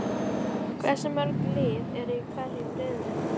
Hversu mörg lið eru í hverjum riðli?